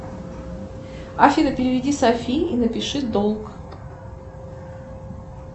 афина переведи софии и напиши долг